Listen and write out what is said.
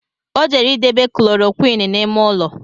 Ọ jere idebe Koloroqini n’ime ụlọ